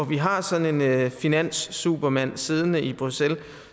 vi har sådan en finanssupermand siddende i bruxelles